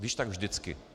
Když tak vždycky.